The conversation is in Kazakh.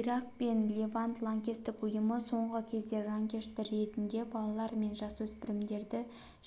ирак пен левант лаңкестік ұйымы соңғы кезде жанкешті ретінде балалар мен жасөспірімдерді